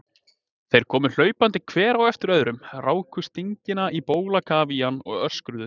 Þeir komu hlaupandi hver á eftir öðrum, ráku stingina á bólakaf í hann og öskruðu.